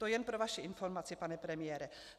To jen pro vaši informaci, pane premiére.